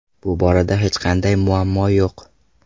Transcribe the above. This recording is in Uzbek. Bu borada hech qanday muammo yo‘q”.